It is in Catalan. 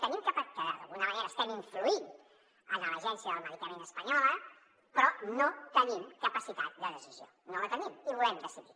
d’alguna manera estem influint en l’agència del medicament espanyola però no tenim capacitat de decisió no en tenim i volem decidir